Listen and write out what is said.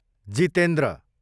Jitendra